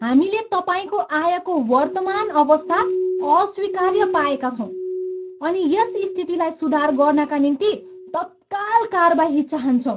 हामीले तपाईँको आयको वर्तमान अवस्था अस्वीकार्य पाएका छौँ अनि यस स्थितिलाई सुधार गर्नाका निम्ति तत्काल कारबाही चाहन्छौँ।